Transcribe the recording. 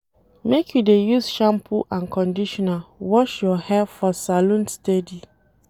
Make you dey use shampoo and conditioner wash your hair for salon steady.